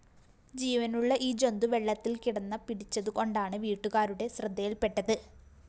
ജീവനുള്ള ഈ ജന്തു വെള്ളത്തില്‍കിടന്ന പിടിച്ചതുകൊണ്ടാണ് വീട്ടുകാരുടെ ശ്രദ്ധയില്‍പ്പെട്ടത്